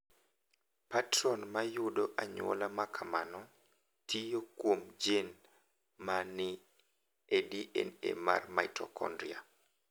Patron mar yudo anyuola ma kamano tiyo kuom jin ma ni e DNA mar mitokondria.